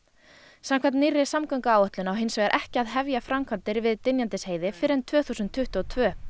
samkvæmt nýrri samgönguáætlun á hins vegar ekki að hefja framkvæmdir við Dynjandisheiði fyrr en tvö þúsund tuttugu og tvö